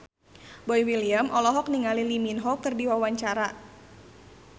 Boy William olohok ningali Lee Min Ho keur diwawancara